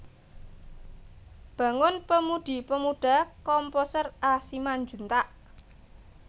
Bangun Pemudi Pemuda Komposer A Simanjuntak